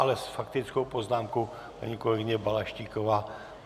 Ale s faktickou poznámkou paní kolegyně Balaštíková.